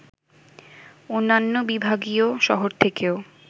অন্যান্য বিভাগীয় শহর থেকেও